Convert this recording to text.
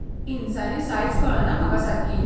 इंचांनी size कळना म्हाका सारकी.